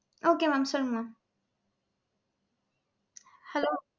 okay mam சொல்லுங்க mam hello